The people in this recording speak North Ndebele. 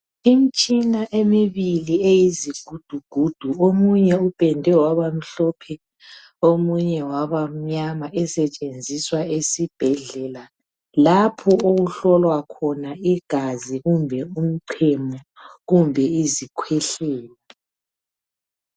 Imitshina emibili eyizigudugudu omunye upedwe waba mhlophe omunye wabamnyama esetshenziswa esibhedlela lapho okuhlolwa khona igazi kumbe umchemo kumbe izikhwehlela.